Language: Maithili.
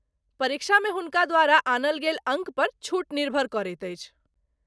परीक्षामे हुनका द्वारा आनल गेल अङ्कपर छूट निर्भर करैत अछि।